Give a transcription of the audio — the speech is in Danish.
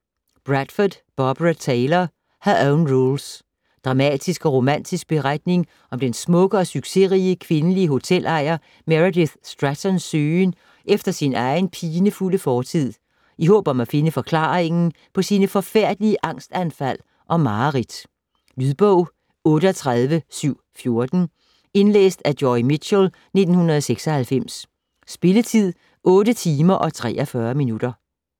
Bradford, Barbara Taylor: Her own rules Dramatisk og romantisk beretning om den smukke og succesrige kvindelige hotelejer Meredith Strattons søgen efter sin egen pinefulde fortid, i håb om at finde forklaringen på sine forfærdelige angstanfald og mareridt. Lydbog 38714 Indlæst af Joy Mitchell, 1996. Spilletid: 8 timer, 43 minutter.